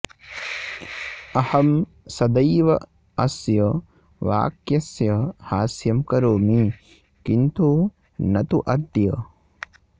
अहं सदैव अस्य वाक्यस्य हास्यं करोमि किन्तु न तु अद्य